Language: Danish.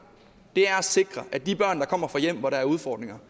er at sikre at de børn der kommer fra hjem hvor der er udfordringer